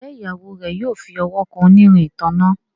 Njé Ìyàwó rẹ yóò fí ọwọ kàn onírin ìtanná?